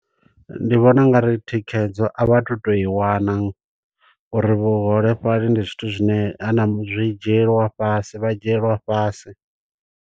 Ndi vhona ungari thikhedzo a vha tu to i wana, uri vhuholefhali ndi zwithu zwine, ha na zwi dzhielwa fhasi, vha dzhielwa fhasi.